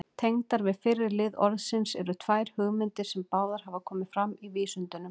Tengdar við fyrri lið orðsins eru tvær hugmyndir, sem báðar hafa komið fram í vísindunum.